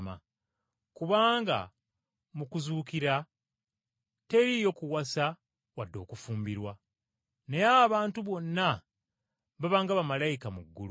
Kubanga mu kuzuukira teriiyo kuwasa wadde okufumbirwa, naye abantu bonna baba nga bamalayika mu ggulu.